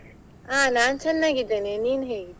ಹಾ ನಾನ್ ಚನ್ನಾಗಿದ್ದೇನೆ, ನೀನ್ ಹೇಗಿದ್ದಿ?